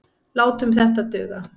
Látum þetta duga.